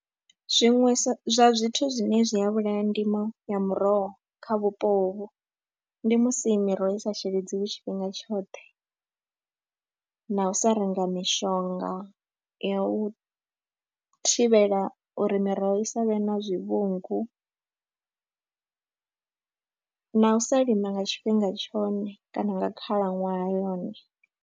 Zwiṅwe zwa zwithu zwine zwi a vhulaya ndimo ya miroho kha vhupo hovhu ndi musi miroho i sa sheledziwi tshifhinga tshoṱhe na u sa renga mishonga ya u thivhela uri miroho i sa vhe na zwivhungu na u sa lima nga tshifhinga tshone kana nga khalaṅwaha yone.